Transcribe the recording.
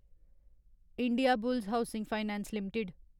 Indiabulls housing finance limited